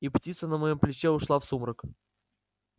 и птица на моем плече ушла в сумрак